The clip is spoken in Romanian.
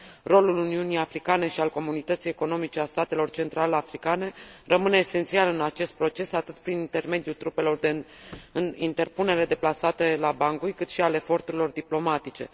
Rolul Uniunii Africane și al Comunității Economice a Statelor Central Africane rămâne esențial în acest proces, atât prin intermediul trupelor de interpunere, deplasate la Bangui, cât și al eforturilor diplomatice.